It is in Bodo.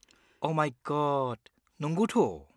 अ' माइ गड, नंगौथ'।